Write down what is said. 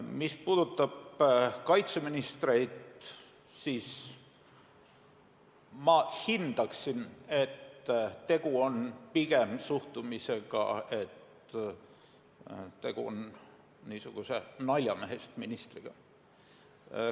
Mis puudutab kaitseministreid, siis ma hindaksin, et see on pigem see suhtumine, et tegu on niisuguse naljamehest ministriga.